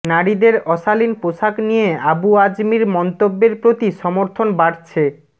নারীদের অশালীন পোশাক নিয়ে আবু আজমির মন্তব্যের প্রতি সমর্থন বাড়ছে